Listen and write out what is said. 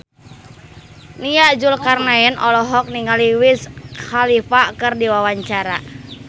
Nia Zulkarnaen olohok ningali Wiz Khalifa keur diwawancara